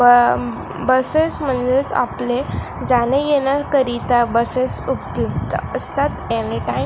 ब बसेस म्हणजेच आपले जाने येण्या करिता बसेस उपयुक्त असतात एनीटाइम --